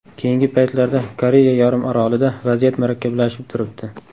Keyingi paytlarda Koreya yarimorolida vaziyat murakkablashib turibdi.